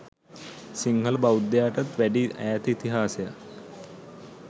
සිංහල බෞද්ධයාටත් වැඩි ඈත ඉතිහාසයක්